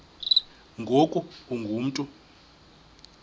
ngoku ungu mntu